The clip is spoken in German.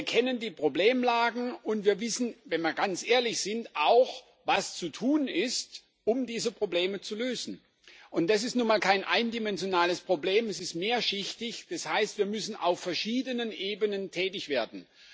Wir kennen die Problemlagen, und wir wissen wenn wir ganz ehrlich sind auch, was zu tun ist, um diese Probleme zu lösen. Es ist nun mal kein eindimensionales Problem, es ist mehrschichtig, das heißt, wir müssen auf verschiedenen Ebenen tätig werden.